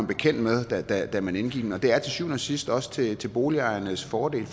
bekendt med da da man indgik den og det er til syvende og sidst også til til boligejernes fordel